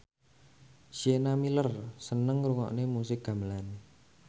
Sienna Miller seneng ngrungokne musik gamelan